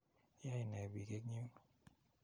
Yoe nee piik eng' yuun?